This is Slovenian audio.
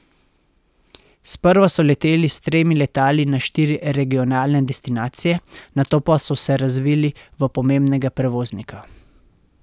Sprva so leteli s tremi letali na štiri regionalne destinacije, nato pa so se razvili v pomembnega prevoznika.